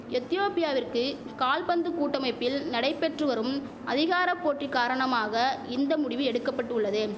எத்தியோப்பியாவிற்கு கால்பந்து கூட்டமைப்பில் நடைபெற்று வரும் அதிகார போட்டி காரணமாக இந்த முடிவு எடுக்கபட்டுள்ளது